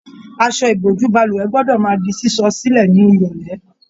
Aṣọ ìbojú balùwẹ̀ gbọdọ máa di sísọ silẹ ni irọlẹ.